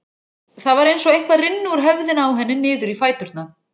Það var eins og eitthvað rynni úr höfðinu á henni niður í fæturna.